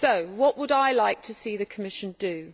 What would I like to see the Commission do?